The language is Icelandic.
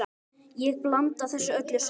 Ég blanda þessu öllu saman.